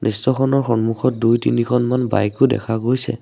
দৃশ্যখনৰ সন্মুখত দুই তিনিখনমান বাইকো দেখা গৈছে।